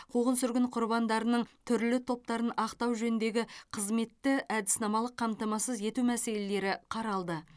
қуғын сүргін құрбандарының түрлі топтарын ақтау жөніндегі қызметті әдіснамалық қамтамасыз ету мәселелері қаралды